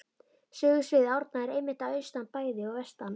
Sögusvið Árna er einmitt að austan bæði og vestan